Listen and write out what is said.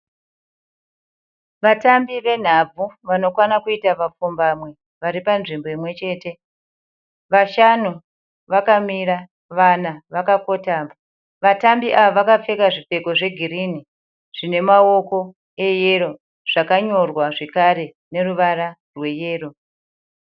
Vatambi venhabvu vanokwana kuita vapfumbamwe vari panzvimbo imwe chete. Vashanu vakamira, vana vakakotama. Vatambi ava vakapfeka zvipfeko zvegirini zvine maoko eyero zvakanyorwa zvekare neruvara rweyero.